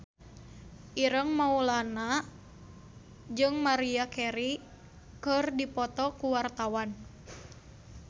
Ireng Maulana jeung Maria Carey keur dipoto ku wartawan